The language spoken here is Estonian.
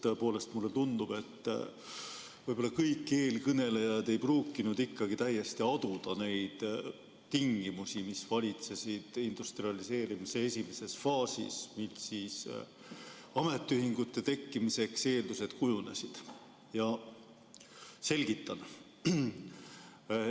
Tõepoolest, mulle tundub, et võib-olla kõik eelkõnelejad ei pruukinud ikkagi täiesti aduda neid tingimusi, mis valitsesid industrialiseerimise esimeses faasis, kui ametiühingute tekkimiseks eeldused kujunesid, ja ma soovin selgitada.